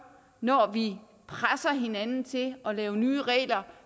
når vi presser hinanden til at lave nye regler